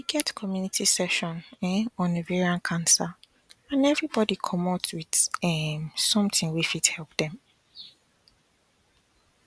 get community session um on ovarian cancer and everybody commot with um something wey fit help dem